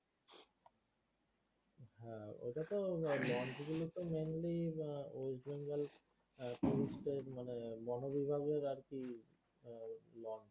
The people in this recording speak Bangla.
ওটাতো launch গুলো তো mainly হম ওয়েস্টবেঙ্গল tourist দের মানে বনবিভাগের আর কি .